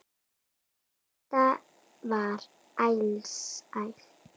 Þetta var alsæla.